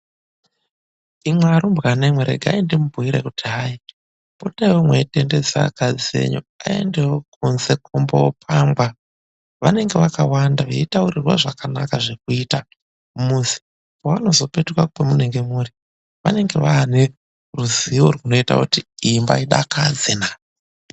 Imwi arumbwanemwi regai ndimubhuire kuti hai , potaiwo mweitendedze akadzi enyu aendewo kunze kumboopangwa vanenge vakawanda veitaurirwa zvakanaka zvekuita mumuzi. Pevanopetuka pamunenge muri vanenge vaane ruzivo runoita kuti imba idakadze naa!